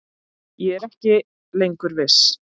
Ég er ekki lengur viss.